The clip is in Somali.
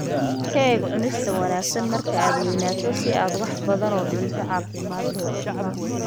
Ka eeg Cunista Wanaagsan marka aad weynaato si aad wax badan oo cunto caafimaad leh u cuntid.